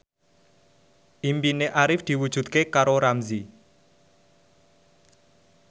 impine Arif diwujudke karo Ramzy